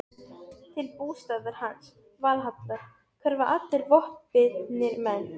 Til bústaðar hans, Valhallar, hverfa allir vopnbitnir menn.